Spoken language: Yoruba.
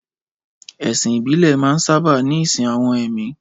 Ẹ̀sìn ìbílẹ̀ máa ń sábà ní ìsìn àwọn ẹ̀mí